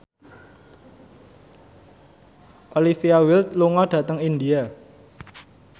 Olivia Wilde lunga dhateng India